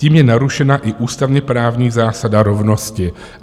Tím je narušena i ústavně-právní zásada rovnosti.